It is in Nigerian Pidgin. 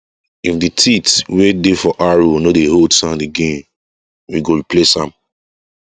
if the teeth wey dey for harrow no dey hold sand again we go replace am